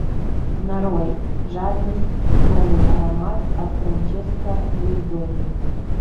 нарой жадность новый аромат от франческо веззоли